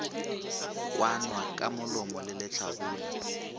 kwanwa ka molomo wa lehlabula